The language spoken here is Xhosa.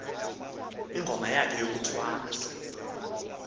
ingoma yakhe yokuthwasa